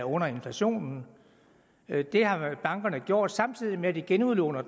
under inflationen det har bankerne gjort samtidig med at de genudlåner